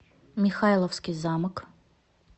михайловский замок